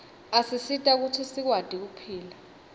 asisita kutsi sikwati kuphila